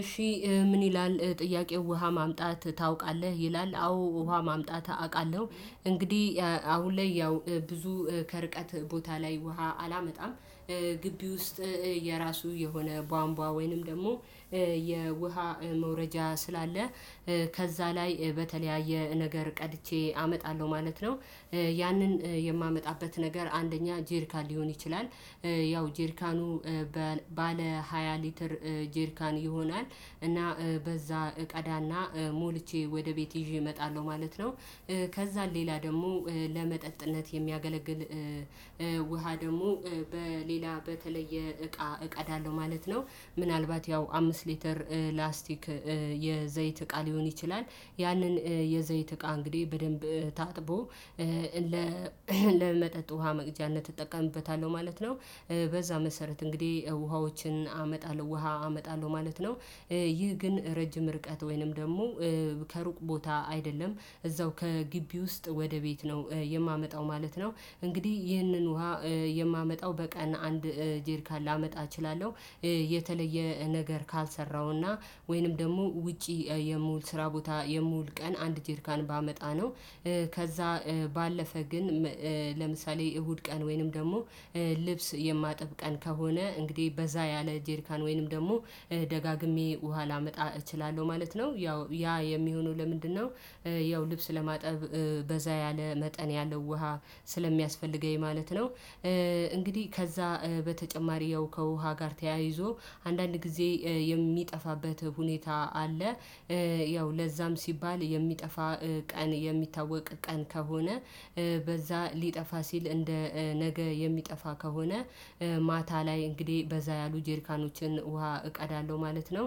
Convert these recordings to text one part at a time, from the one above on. እሺ ምን ይላል ጥያቄው? ውሃ ማምጣት ታውቃለህ ይላል አዎ ውሃ ማምጣት አቃለሁ እንግዲህ አሁን ላይ ያው ብዙ ከርቀት ቦታ ላይ ውሃ አላመጣም። ግቢ ውስጥ የራሱ የሆነ ባንቧ ወይንም ደግሞ የውሃ መውረጃ ስላለ ከዛ ላይ በተለያየ ነገር ቀድቼ አመጣለሁ ማለት ነው። ያንን የማመጣበት ነገር አንደኛ ጄሪካን ሊሆን ይችላል። ያው ጄርካኑ በ ባለ ሃያ ሊትር ጄርካን ይሆናል እና በዛ እቀዳና ሞልቼ ወደ ቤቴ ይዤ እመጣለሁ ማለት ነው። ከዛን ሌላ ደግሞ ለመጠጥነት የሚያገለግል ውሃ ደግሞ በሌላ በተለየ እቃ እቀዳለሁ ማለት ነው። ምናልባት ያው አምስት ሊተር ላስቲክ የዘይት እቃ ሊሆን ይችላል። ያንን የዘይት እቃ እንግዲህ በደንብ ታጥቦ ለመጠጥ ውሃ መቅጃነት እጠቀምበታለሁ ማለት ነው። በዛ መሰረት እንግዲህ ውሃዎችን አመጣለሁ ውሃ አመጣለሁ ማለት ነው። ይህ ግን ረጅም ርቀት ወይንም ደግሞ ከሩቅ ቦታ አይደለም እዛው ከግቢ ውስጥ ወደ ቤት ነው የማመጣው ማለት ነው። እንግዲህ ይህንን ውሃ የማመጣው በቀን አንድ ጀሪካን ላመጣ እችላለሁ። የተለየ ነገር ካልሰራሁና ወይንም ደግሞ ውጪ የምውል ስራ ቦታ የምውል ቀን አንድ ጀሪካን ባመጣ ነው። ከዛ ባለፈ ግን ለምሳሌ እሁድ ቀን ወይንም ደግሞ ልብስ የማጥብ ቀን ከሆነ እንግዲህ በዛ ያለ ጀሪካን ወይንም ደግሞ ደጋግሜ ውሃ ላመጣ እችላለሁ ማለት ነው። ያው ያ የሚሆነው ለምንድነው? ያው ልብስ ለማጠብ በዛ ያለ መጠን ያለው ውሃ ስለሚያስፈልገኝ ማለት ነው። እንግዲህ ከዛ በተጨማሪ ያው ከውሃ ጋር ተያይዞ አንዳንድ ጊዜ የሚጠፋበት ሁኔታ አለ። ያው ለዛም ሲባል የሚጠፋ ቀን የሚታወቅ ቀን ከሆነ በዛ ሊጠፋ ሲል እንደ ነገ የሚጠፋ ከሆነ ማታ ላይ እንግዲህ በዛ ያሉ ጀሪካኖችን ውሃ እቀዳለሁ ማለት ነው።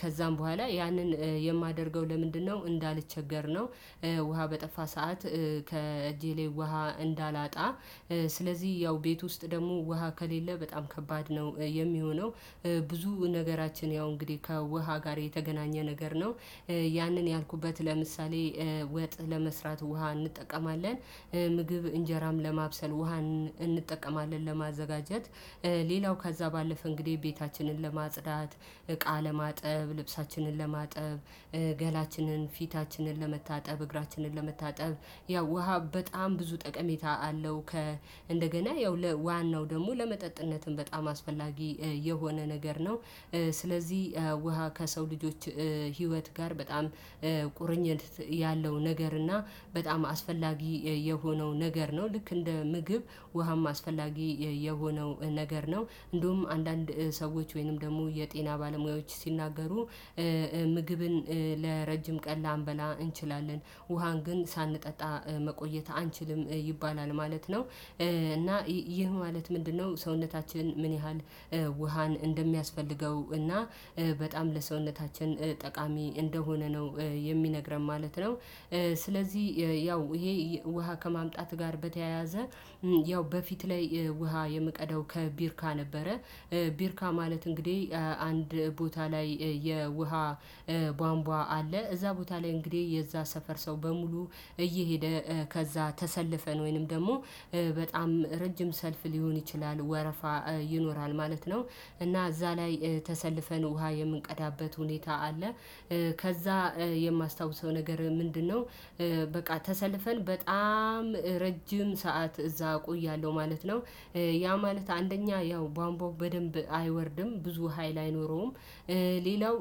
ከዛም በኋላ ያንን የማደርገው ለምንድነው እንዳልቸገር ነው። ውሃ በጠፋ ሰዓት ከእጄ ላይ ውሃ እንዳላጣ ስለዚህ ያው ቤት ውስጥ ደግሞ ውሃ ከሌለ በጣም ከባድ ነው የሚሆነው። ብዙ ነገራችን ያው እንግዲህ ከውሃ ጋር የተገናኘ ነገር ነው። ያንን ያልኩበት ለምሳሌ ወጥ ለመስራት ውሃ እንጠቀማለን። ምግብ እንጀራም ለማብሰል ውሃ እንጠቀማለን ለማዘጋጀት። ሌላው ከዛ ባለፈ እንግዲህ ቤታችንን ለማጽዳት እቃ ለማጠብ ልብሳችንን ለማጠብ ገላችንን ፊታችንን ለመታጠብ እግራችንን ለመታጠብ ያው ውሃ በጣም ብዙ ጠቀሜታ አለው። ከ እንደገና ያው ለዋናው ደግሞ ለመጠጥነትም በጣም አስፈላጊ የሆነ ነገር ነው። ስለዚህ ውሃ ከሰው ልጆች ህይወት ጋር በጣም ቁርኝት ያለው ነገር እና በጣም አስፈላጊ የሆነው ነገር ነው ልክ እንደ ምግብ ውሃም አስፈላጊ የሆነው ነገር ነው እንዲሁም አንዳንድ ሰዎች ወይንም ደግሞ የጤና ባለሙያዎች ሲናገሩ ምግብን ለረጅም ቀን ላንበላ እንችላለን ውሃን ግን ሳንጠጣ መቆየት አንችልም ይባላል ማለት ነው። እና ይህ ማለት ምንድነው? ሰውነታችን ምን ያህል ውሃን እንደሚያስፈልገው እና በጣም ለሰውነታችን ጠቃሚ እንደሆነ ነው የሚነግረን ማለት ነው። ስለዚህ ያው ይሄ ውሃ ከማምጣት ጋር በተያያዘ ያው በፊት ላይ ውሃ የምቀዳው ከጀሪካ ነበረ። ቢርካ ማለት እንግዲህ አንድ ቦታ ላይ የውሃ ባንቧ አለ እዛ ቦታ ላይ እንግዲህ የዛ ሰፈር ሰው በሙሉ እየሄደ ከዛ ተሰልፈን ወይንም ደግሞ በጣም ረጅም ሰልፍ ሊሆን ይችላል ወረፋ ይኖራል ማለት ነው። እና እዛ ላይ ተሰልፈን ውሃ የምንቀዳበት ሁኔታ አለ። ከዛ የማስታውሰው ነገር ምንድነው? በቃ ተሰልፈን በጣም ረጅም ሰዓት እዛ እቆያለሁ ማለት ነው። ያ ማለት አንደኛ ያው ባንቧው በደንብ አይወርድም ብዙ ሀይል አይኖረውም። ሌላው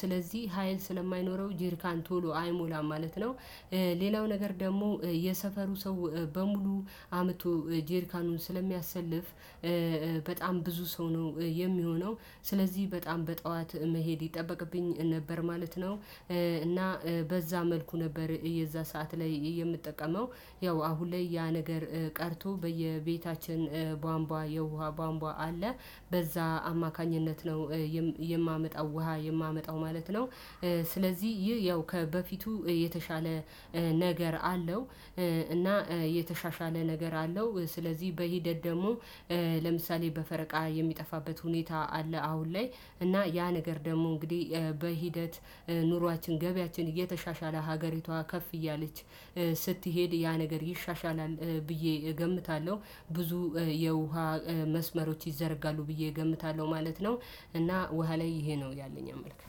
ስለዚህ ሀይል ስለማይኖረው ጀሪካን ቶሎ አይሞላም ማለት ነው። ሌላው ነገር ደግሞ የሰፈሩ ሰው በሙሉ አመቱ ጄሪካኑን ስለሚያሰልፍ በጣም ብዙ ሰው ነው የሚሆነው ስለዚህ በጣም በጠዋት መሄድ ይጠበቅብኝ ነበር ማለት ነው። እና በዛ መልኩ ነበር የዛ ሰዓት ላይ የምጠቀመው ያው አሁን ላይ ያ ነገር ቀርቶ በየቤታችን ባንቧ የውሃ ባንቧ አለ። በዛ አማካኝነት ነው። የማመጣው ውሃ የማመጣው ማለት ነው። ስለዚህ ይህ ያው ከበፊቱ የተሻለ ነገር አለው። እና የተሻሻለ ነገር አለው ስለዚህ በሂደት ደግሞ ለምሳሌ በፈረቃ የሚጠፋበት ሁኔታ አለ አሁን ላይ እና ያ ነገር ደግሞ እንግዲህ በሂደት ኑሯችን ገበያችን እየተሻሻለ ሀገሪቷ ከፍ እያለች ስትሄድ ያ ነገር ይሻሻላል። ብዬ እገምታለሁ ብዙ የውሃ መስመሮች ይዘረጋሉ ብዬ እገምታለሁ ማለት ነው። እና ውሃ ላይ ይሄ ነው ያለኝ አመለካከት